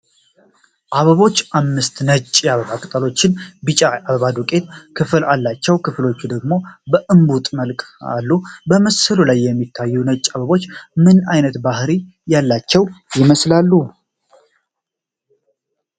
አበቦቹ አምስት ነጭ የአበባ ቅጠሎችና ቢጫ የአበባ ዱቄት ክፍል አላቸው፤ ከፊሎቹ ደግሞ በእምቡጥ መልክ አሉ። በምስሉ ላይ የሚታዩት ነጭ አበቦች ምን አይነት ባህሪ ያላቸው ይመስላሉ?